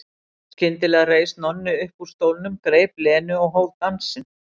Skyndilega reis Nonni upp úr stólnum, greip Lenu og hóf dansinn.